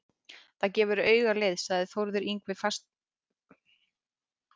Það gefur auga leið, sagði Þórður Yngvi feginsamlega og skotraði augunum íbygginn til mín.